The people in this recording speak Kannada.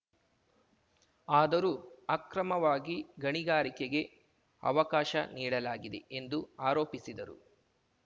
ಆದರೂ ಅಕ್ರಮವಾಗಿ ಗಣಿಗಾರಿಕೆಗೆ ಅವಕಾಶ ನೀಡಲಾಗಿದೆ ಎಂದು ಆರೋಪಿಸಿದರು